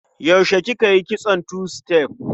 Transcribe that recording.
Yaushe kika yi kitson tu-sitef?